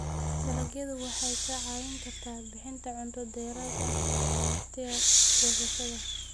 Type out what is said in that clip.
Dalagyadu waxay kaa caawin karaan bixinta cunto dheeraad ah wakhtiga goosashada.